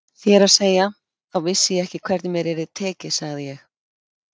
Þér að segja, þá vissi ég ekki hvernig mér yrði tekið sagði ég.